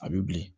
A bɛ bilen